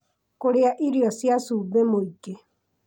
kũrĩa irio cia cumbĩ mũingĩ